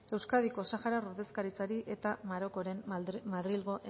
euskadiko saharar ordezkaritzari eta marokoren madrilgo